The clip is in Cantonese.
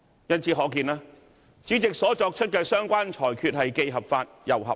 由此可見，主席作出的相關裁決既合法亦合理。